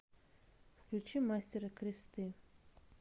включи мастера кресты